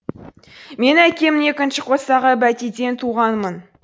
мен әкем екінші қосағы бәтиден туғанмын